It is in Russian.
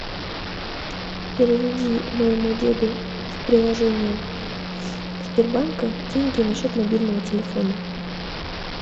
переведи моему деду с приложения сбербанка деньги на счет мобильного телефона